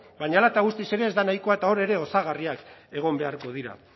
baina hala eta guztiz ere ez da nahikoa eta hor ere osagarriak egon beharko dira